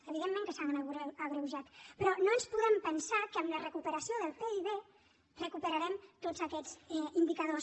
evidentment que s’ha agreujat però no ens podem pensar que amb la recuperació del pib recuperarem tots aquests indicadors